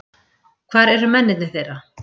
Hvar eru mennirnir þeirra?